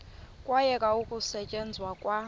kwayekwa ukusetyenzwa kwa